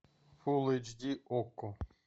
фул эйч ди окко